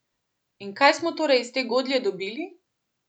In kaj smo torej iz te godlje dobili?